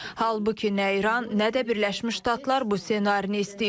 Halbuki nə İran, nə də Birləşmiş Ştatlar bu ssenarini istəyir.